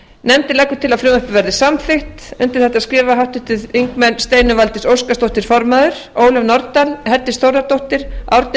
nefndin leggur til að frumvarpið verði samþykkt undir þetta skrifa háttvirtir þingmenn steinunn valdís óskarsdóttir form ólöf nordal herdís þórðardóttir árni